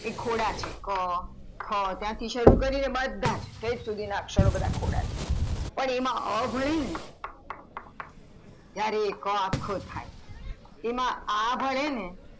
એ ખોડા છે ક ખ ત્યાંથી શરુ કરીયે બધાજ ઠેઠ સુથીના બધાજ અક્ષર ખોડા છે પણ એમાં અ હોય ને ત્યારે ક અખો થાય તેમાં આ ભળે ને